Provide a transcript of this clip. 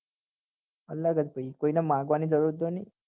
અલગ જ ભાઈ કોઈ ને માગવા ની જરૂરત તો ની